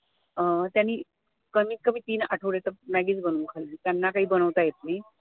अं त्यांनी कमीत कमी तीन आठवडे तर maggie च बनवून खाल्ली, त्यांना काही बनवता येत नाही